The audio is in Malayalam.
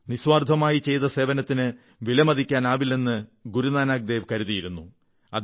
നിസ്വാർഥമായി ചെയ്ത സേവനത്തിന് വിലമതിക്കാനാവില്ലെന്ന് ഗുരുനാനക് ദേവ് കരുതിയിരുന്നു